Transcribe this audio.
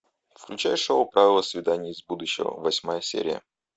включай шоу правила свиданий из будущего восьмая серия